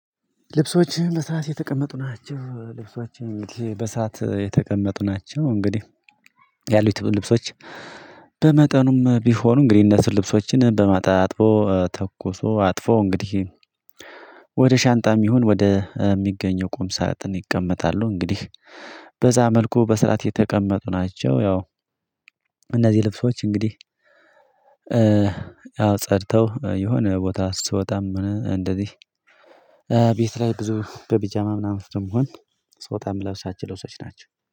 ልብሶች በሰርአት የተቀመጡ ናቸው ልብሶች በስርዓት የተቀመጡ ናቸው። እንግዲህ ያሉት ልብሶች በመጠኑም ቢሆኑ እንግዲህ እነሱ ልብሶችን በማጣ አጥቦ ተኩሶ አጥፎ እንግዲህ ወደ ሻንጣም ይሁን ወደ የሚገኘው ቁም ሳጥን ይቀመጣሉ። እንግዲህ በዛ መልኩ በስራአት የተቀመጡ ናቸው። ያው እነዚህ ልብሶች እንግዲህ አዎ ጸድተው የሆነ ቦታ ስትወጣም እንደዚህ ቤት ላይ ብዙ በቢጃማ ምናምን ስለምሆን ስወጣ ምለብሳቸው ልብሶች ናቸው